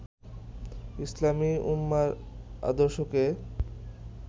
ইসলামি উম্মাহর আদর্শকে